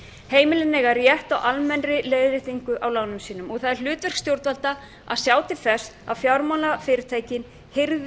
heimilin eiga rétt á almennri leiðréttingu á lánum sínum og það er hlutverk stjórnvalda að sjá til þess að fjármálafyrirtækin hirði